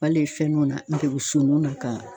Wali fɛn nuw na bukusoninw na ka